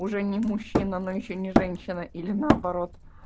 уже не мужчина но ещё не женщина или наоборот